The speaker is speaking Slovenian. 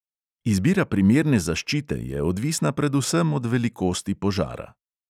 Izbira primerne zaščite je odvisna predvsem od velikosti požara.